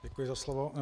Děkuji za slovo.